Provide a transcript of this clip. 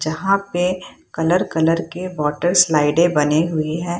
जहां पे colour colour के वाटर स्लाइडे बनी हुई है।